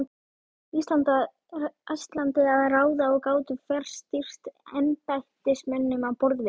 Íslandi að ráða og gátu fjarstýrt embættismönnum á borð við